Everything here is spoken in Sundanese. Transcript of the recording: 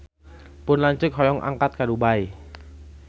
Pun lanceuk hoyong angkat ka Dubai